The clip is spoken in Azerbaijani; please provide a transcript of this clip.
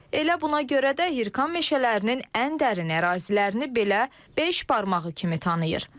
Elə buna görə də Hirkan meşələrinin ən dərin ərazilərini belə beş barmağı kimi tanıyır.